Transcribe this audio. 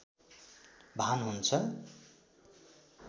भान हुन्छ